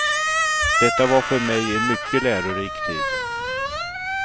Detta var för mig en mycket lärorik tid.